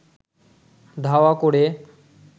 ধাওয়া করে